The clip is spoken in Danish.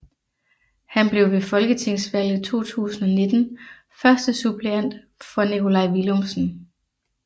Han blev ved Folketingsvalget 2019 førstesuppleant for Nikolaj Villumsen